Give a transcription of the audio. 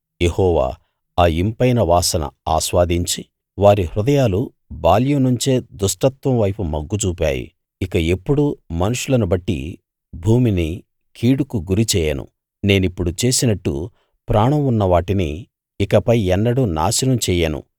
యెహోవా ఆ ఇంపైన వాసన ఆస్వాదించి వారి హృదయాలు బాల్యం నుంచే దుష్టత్వం వైపు మొగ్గుచూపాయి ఇక ఎప్పుడూ మనుషులను బట్టి భూమిని కీడుకు గురిచేయను నేనిప్పుడు చేసినట్టు ప్రాణం ఉన్నవాటిని ఇకపై ఎన్నడూ నాశనం చెయ్యను